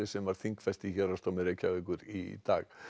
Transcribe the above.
sem var þingfest í Héraðsdómi Reykjavíkur í dag